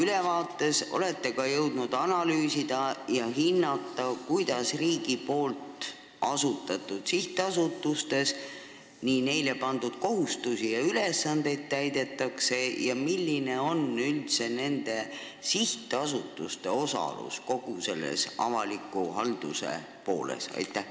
Kas te olete ka jõudnud analüüsida ja hinnata, kuidas riigi asutatud sihtasutustes neile pandud kohustusi täidetakse ja milline on üldse nende osalus kogu avalikus halduses?